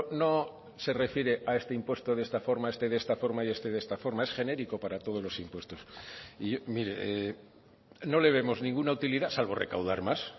no se refiere a este impuesto de esta forma este de esta forma y este de esta forma es genérico para todos los impuestos y mire no le vemos ninguna utilidad salvo recaudar más